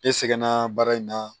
Ne sɛgɛnna baara in na